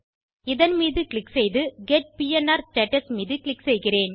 இதன் மீது க்ளிக் செய்து கெட் பிஎன்ஆர் ஸ்டேட்டஸ் மீது க்ளிக் செய்க